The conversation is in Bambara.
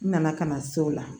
N nana ka na se o la